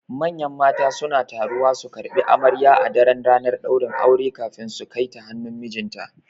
Manyan mata suna taruwa su karɓi amarya a daran ranar ɗaurin aure kafin su Kaita hannun mijinta